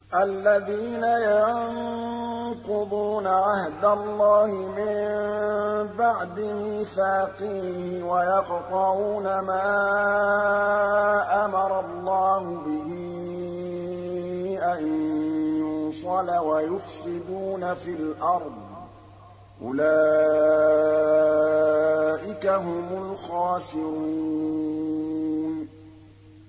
الَّذِينَ يَنقُضُونَ عَهْدَ اللَّهِ مِن بَعْدِ مِيثَاقِهِ وَيَقْطَعُونَ مَا أَمَرَ اللَّهُ بِهِ أَن يُوصَلَ وَيُفْسِدُونَ فِي الْأَرْضِ ۚ أُولَٰئِكَ هُمُ الْخَاسِرُونَ